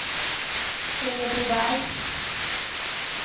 Enebyberg